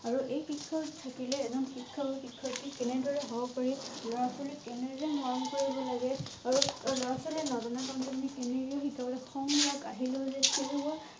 আৰু এই শিক্ষা থাকিলে এজন শিক্ষক বা সিক্ষয়েত্ৰি কেনেদৰে হব পাৰি লৰা ছোৱালীক কেনেদৰে মৰম কৰিব লগে আৰু ছোৱালীয়ে নিজনা লাগে। খং ৰাগ আহিলেও যে